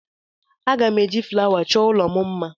Aga m eji flawa chọọ ụlọ m mma.